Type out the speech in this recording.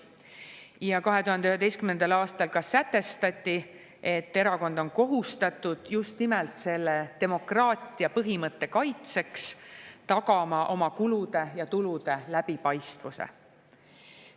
Ja 2011. aastal sätestati, et erakond on kohustatud just nimelt selle demokraatia põhimõtte kaitseks tagama oma kulude ja tulude läbipaistvuse.